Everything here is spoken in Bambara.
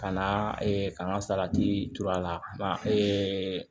Ka na ka n ka salati tur'a la